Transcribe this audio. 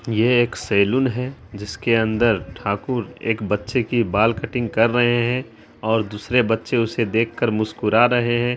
ये एक सेलून है जिसके अंदर ठाकुर एक बच्चे की बाल कट्टींग कर रहे है और दुसरे बच्चे उसे देख कर मुस्कूरा रहे है।